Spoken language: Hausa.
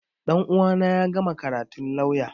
Ɗan uwana ya gama karatun lauya